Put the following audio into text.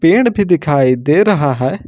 पेड़ भी दिखाई दे रहा है।